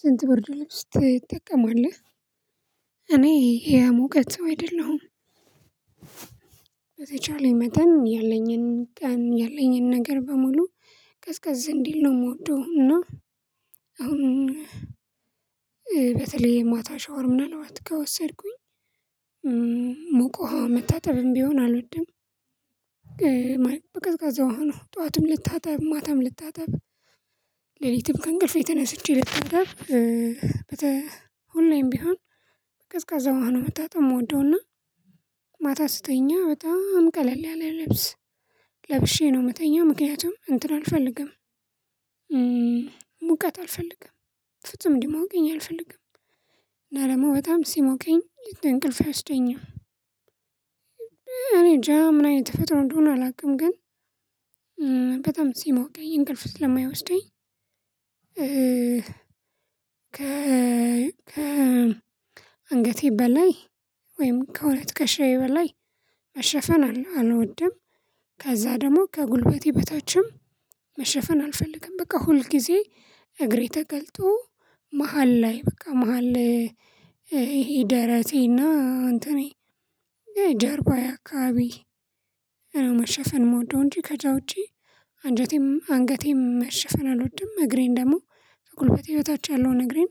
ስንት ብርድ ልብስ ትጠቀማለህ እኔ የሙቀት ሰው አይደለሁም። በተቻለኝ መጠን ያለኝን ያለኝን ነገር በሙሉ ቀዝቀዝ እንዲል ነው የምወደው እና። አሁን በተለይ የማታ ሻወር ምናልባት ከወሰድኩኝ ሙቅ ውሃ መታጠብም ቢሆን አልወድም። በቀዝቃዛ ውሃ ነው ጠዋትም ልታጠብ ማታም ልታጠብ ሌሊትም ከእንቅልፌ ተነስቼ ልታጠብ በተ ሁሌም ቢሆን በቀዝቃዛ ውሃ ነው መታጠብ የምወደውና። ማታ ስተኛ በጣም ቀለል ያለ ልብስ ለብሼ ነው የምተኛው ምክንያቱም እንትን አልፈልግም። ሙቀት አልፈልግም ፍጹም እንዲሞቀኝ አልፈልግም እና ደግሞ በጣም ሲሞቀኝ እንቅልፍ አይወስደኝም። እኔንጃ ምን አይነት ተፈጥሮ እንደሆነ አላውቅም ግን። በጣም ሲሞቀኝ እንቅልፍ ስለማይወስደኝ እ ከ አንገቴ በላይ ወይም ከሁለት ትከሻዬ በላይ መሸፈን አልወድም። ከዛ ደግሞ ከጉልበቴ በታችም መሸፈን አልፈልግም። በቃ ሁል ጊዜ እግሬ ተገልጦ መሃል ላይ በቃ መሃል ይሄ ደረቴና እንትኔ ጀርባዬ አካባቢ ነው መሸፈን የምወደው። እንጂ ከዛ ውጪ አንጀቴም አንገቴም መሸፈን አልወድም። እግሬን ደግሞ ከጉልበቴ በታች ያለውን እግሬን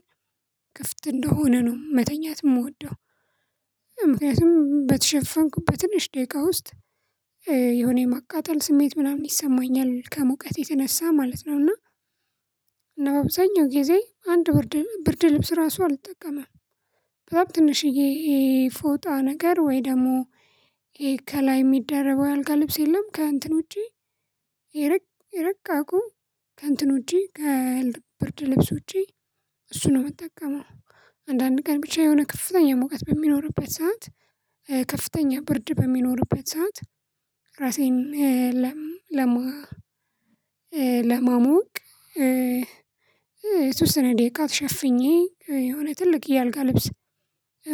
ክፍት እንደሆነ ነው መተኛት የምወደው። ምክንያቱም በተሸፈንኩ በትንሽ ደቂቃ ውስጥ የሆነ የማቃጠል ስሜት ምናምን ይሰማኛል ከሙቀት የተነሳ ማለት ነውና። እና በአብዛኛው ጊዜ አንድ ብርድ ብርድ ልብስ ራሱ አልጠቀመም። በጣም ትንሽዬ ፎጣ ነገር ወይ ደግሞ ይሄ ከላይ የሚደረበው የአልጋ ልብስ የለም ከእንትን ውጪ ይርቅ ይርቅ አውቆ ከእንትን ውጪ ከብርድ ልብስ ውጪ እሱን ነው የምጠቀመው። አንዳንድ ቀን ብቻ የሆነ ከፍተኛ ሙቀት በሚኖርበት ሰዓት ከፍተኛ ብርድ በሚኖርበት ሰዓት። ራሴን ለም ለምዋ ለማሞቅ የተወሰነ ደቂቃ ተሸፍኜ የሆነ ትልቅ የአልጋ ልብስ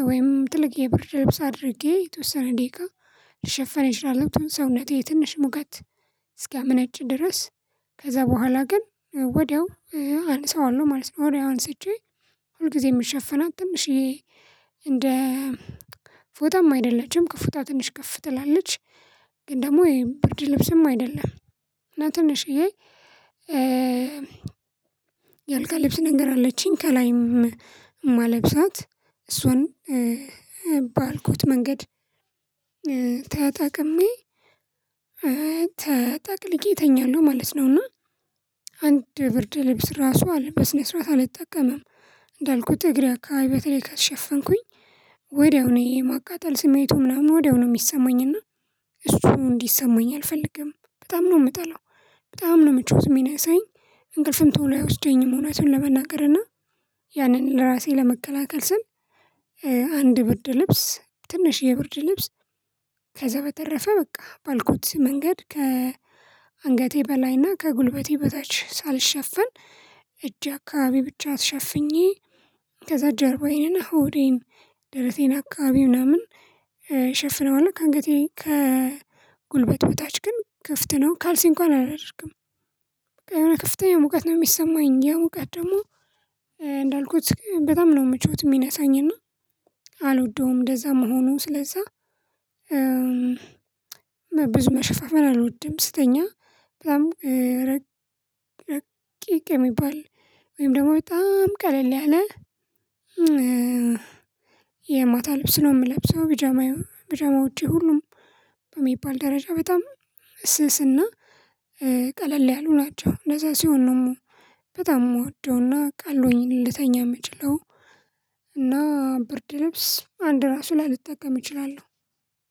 ወይም ጥልቅ የብርድ ልብስ አድርጌ የተወሰነ ደቂቃ ልሸፈን እችላለው ሰውነቴ ትንሽ ሙቀት እስኪያመነጭ ድረስ። ከዛ በኋላ ግን ወዲያው አነሳዋለሁ ማለት ነው። ወዲያው አንሰቼ ሁል ጊዜ የምሸፍናት ትንሽዬ እንደ ፎጣም አይደለችም ከፎጣ ትንሽ ከፍ ትላለች። ግን ደግሞ ይሄ ብርድ ልብስም አይደለም። እና ትንሽዬ የአልጋ ልብስ ነገር አለችኝ ከላይም የማለብሳት እሱን ባልኩት መንገድ ተጠቅሜ ተጠቅልዬ እተኛለው ማለት ነውና። አንድ ብርድ ልብስ ራሱ አልበስነ ስርዓት አልጠቀምም። እንዳልኩት እግሬ አካባቢ በተለይ ከሸፈንኩኝ ወዲያው እኔ የማቃጠል ስሜቱ ምናምን ወዲያው ነው የሚሰማኝና እሱ እንዲሰማኝ አልፈልግም በጣም ነው የምጠላው። በጣም ነው ምቾት ሚነሳኝ እንቅልፍም ቶሎ አይወስደኝም እውነቱን ለመናገር እና። ያንን ለራሴ ለመከላከል ስል አንድ ብርድ ልብስ ትንሽዬ የብርድ ልብስ ከዛ በተረፈ በቃ ባልኩት መንገድ ከ አንገቴ በላይና ከጉልበቴ በታች ሳልሸፍን እጄ አካባቢ ብቻ ሸፍኜ። ከዛ ጀርባዬንና ሆዴን ደረቴን አካባቢ ምናምን ሸፍነዋለው ከአንገቴ ከጉልበት በታች ግን ክፍት ነው ካልሲ እንኳን አላደርግም። የሆነ ከፍተኛ ሙቀት ነው የሚሰማኝ ያ ሙቀት ደግሞ እንዳልኩት በጣም ነው ምቾት የሚነሳኝና አልወደውም እንደዛ መሆኑ ስለዛ። ብዙ መሸፋፈን አልወድም ስተኛ። በጣም ረቂቅ የሚባል ወይም ደግሞ በጣም ቀለል ያለ የማታው ልብስ ነው የምለብሰው ቢጃማ ቢጃማዎቼ ሁሉም በሚባል ደረጃ በጣም ስስና ቀለል ያሉ ናቸው። እንደዛ ሲሆን ነው በጣም የምወደውና ቀሎኝ ልተኛ ምችለው። እና ብርድ ልብስ አንድ ራሱ ላልጠቀም እችላለሁ።